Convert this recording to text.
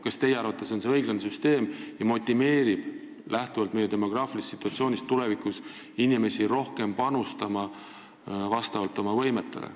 Kas teie arvates on see õiglane süsteem ja motiveerib inimesi meie demograafilisest situatsioonist lähtuvalt tulevikus rohkem panustama oma võimete kohaselt?